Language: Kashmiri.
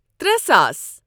ترے ساس